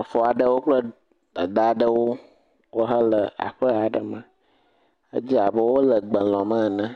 Exɔ aɖewo kple dada aɖewo wohã wole aƒe aɖe me, edze abe wole gbe lɔm ene,